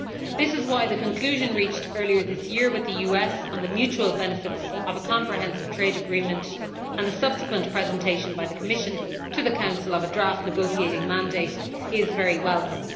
This is why the conclusion reached earlier this year with the US on the mutual benefits of a comprehensive trade agreement, and the subsequent presentation by the Commission to the Council of a draft negotiating mandate, is very welcome.